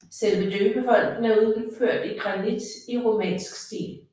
Selve døbefonten er udført i granit i romansk stil